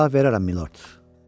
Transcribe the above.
“Mən onlara cavab verərəm, Milord.”